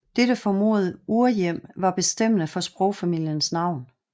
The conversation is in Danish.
Dette formodede urhjem var bestemmende for sprogfamiliens navn